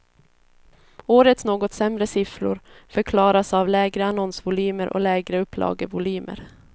Årets något sämre siffror förklaras av lägre annonsvolymer och lägre upplagevolymer.